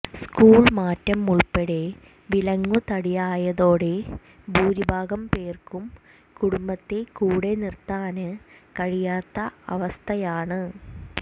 school മാറ്റം ഉള്പ്പെടെ വിലങ്ങുതടിയായതോടെ ഭൂരിഭാഗം പേര്ക്കും കുടുംബത്തെ കൂടെനിര്ത്താന് കഴിയാത്ത അവസ്ഥയാണ്